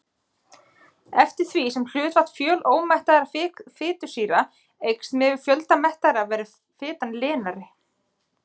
Eftir því sem hlutfall fjölómettaðra fitusýra eykst miðað við fjölda mettaðra verður fitan linari.